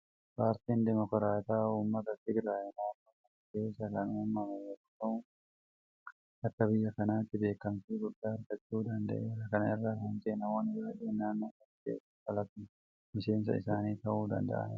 Paartiin Dimokiraatawaa uummata Tigiraay naannoo sana keessaa kan uumame yeroo ta'u akka biyya kanaatti beekamtii guddaa argachuu danda'eera. Kana irraa kan ka'e namoonni baay'een naannoo sana keessaa dhalatan miseensa isaanii ta'uu danda'aniiru.